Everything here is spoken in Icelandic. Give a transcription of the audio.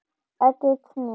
Ekki snert.